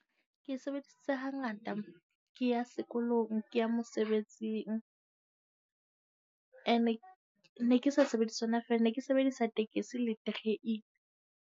Ke sebedisa hangata ke ya sekolong, ke ya mosebetsing. Ene ke ne ke sa sebedise yona feela ne ke sebedisa tekesi le terene.